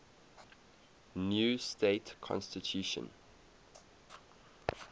new state constitution